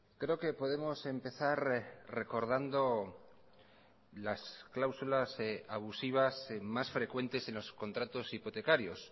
creo que podemos empezar recordando las cláusulas abusivas más frecuentes en los contratos hipotecarios